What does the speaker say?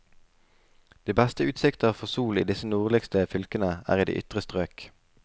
De beste utsikter for sol i disse nordligste fylkene er i de ytre strøk.